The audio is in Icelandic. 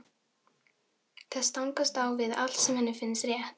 Það stangast á við allt sem henni finnst rétt.